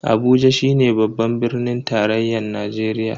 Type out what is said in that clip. Abuja shine babban birnin tarayyan Najeriya.